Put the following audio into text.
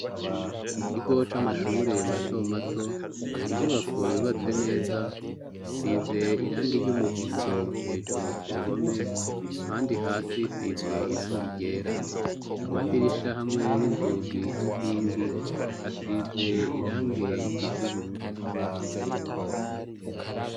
mukigo c'amashuri mato mato n' inyubako yubatse neza isize irange ry'umuhondo hejuru kuruhome ahandi hasi size irangi ryera amadirisha hamwe n'inzugi n'inkingi hasize irange y'ubururu